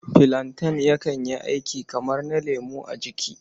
Filanten yakan yi aiki kamar na lemo a jiki.